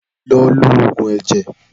Lọ lo Ògùn ẹ̀jẹ̀